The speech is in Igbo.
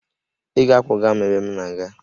Ị ga-akwọga m ebe m na-aga!